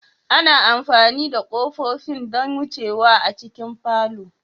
Ana amfani da kofofin don wucewa a cikin falo.